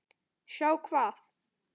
Sjá hvað?